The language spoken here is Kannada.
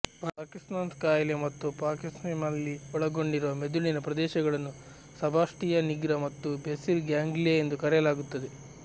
ಪಾರ್ಕಿನ್ಸನ್ ಕಾಯಿಲೆ ಮತ್ತು ಪಾರ್ಕಿನ್ಸನಿಸಮ್ನಲ್ಲಿ ಒಳಗೊಂಡಿರುವ ಮಿದುಳಿನ ಪ್ರದೇಶಗಳನ್ನು ಸಬ್ಟಾಶಿಯಾ ನಿಗ್ರ ಮತ್ತು ಬೇಸಿಲ್ ಗ್ಯಾಂಗ್ಲಿಯಾ ಎಂದು ಕರೆಯಲಾಗುತ್ತದೆ